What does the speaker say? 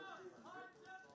Sadəcə olaraq sən oyunçusan.